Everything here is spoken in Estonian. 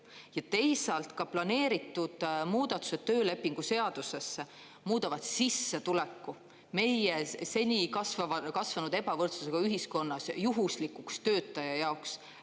Ja teisalt, ka töölepingu seadusesse planeeritud muudatused muudavad sissetuleku meie seni kasvanud ebavõrdsusega ühiskonnas juhuslikuks töötaja jaoks.